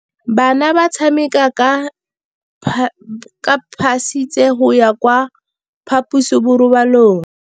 Bana ba tsamaya ka phašitshe go ya kwa phaposiborobalong.